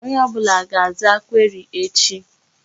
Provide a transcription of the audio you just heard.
Onye ọbụla ga-aza query echi.